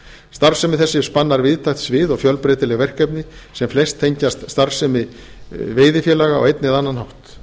starfsemi þessi spannar víðtækt svið og fjölbreytileg verkefni sem flest tengjast starfsemi veiðifélaga á einn eða annan hátt